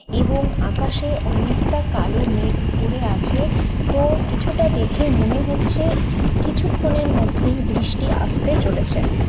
এবং আকাশে অনেকটা কালো মেঘ করে আছে তো কিছুটা দেখে মনে হচ্ছে কিছুক্ষণের মধ্যেই বৃষ্টি আসতে চলেছে।